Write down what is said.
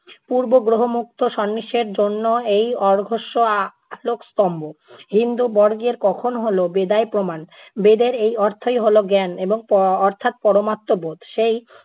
পূর্বগ্রহ মুক্ত সন্ন্যাসীর জন্য এই অর্ঘ্যষ্য আ~ আলোক স্তম্ভ, হিন্দু-বর্গের কখনো হলো বেদই প্রমাণ। বেদের এই অর্থই হলো জ্ঞান এবং প~ অর্থাৎ পরমাত্ম বোধ। সেই